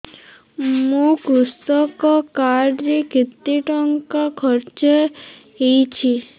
ମୋ କୃଷକ କାର୍ଡ ରେ କେତେ ଟଙ୍କା ଖର୍ଚ୍ଚ ହେଇଚି